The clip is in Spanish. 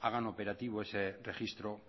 hagan operativo ese registro